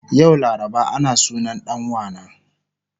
Yau laraba ana sunan dan wana